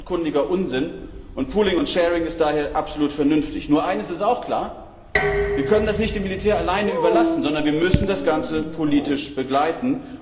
Das ist offenkundiger Unsinn. Pooling and sharing ist daher absolut vernünftig. Nur eines ist auch klar, wir können das nicht dem Militär alleine überlassen, sondern wir müssen das Ganze politisch begleiten.